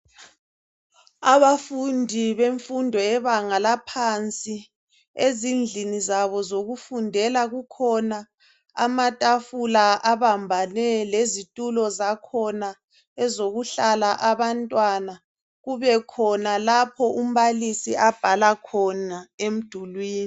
Abafundi bemfundo yebanga laphansi ezindlini zabo zokufundela, kukhona amatafula abambane lezitulo zakhona ezokuhlala abantwana, kube khona lapho umbalisi abhala khona emdulwini.